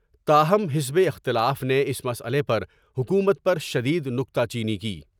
تا ہم حزب اختلاف نے اس مسئلے پر حکومت پر شد ید نکتہ چینی کی ۔